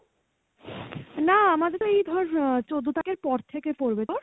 না আমাদের এই ধর চোদ্দ তারিখের পর থেকে পড়বে, তোর?